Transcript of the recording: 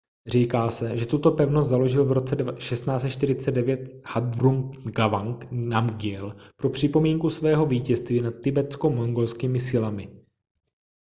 říká se že tuto pevnost založil v roce 1649 zhabdrung ngawang namgyel pro připomínku svého vítězství nad tibetsko-mongolskými silami